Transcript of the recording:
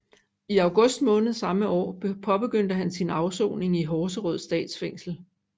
I august måned samme år påbegyndte han sin afsoning i Horserød Statsfængsel